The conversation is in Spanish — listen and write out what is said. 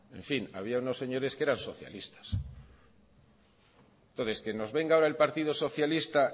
había unos señores que eran socialistas entonces que nos venga ahora el partido socialista